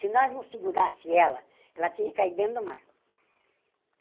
Se nós não segurasse ela, ela tinha caído dentro do mar.